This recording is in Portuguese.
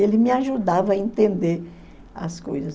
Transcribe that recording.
Ele me ajudava a entender as coisas.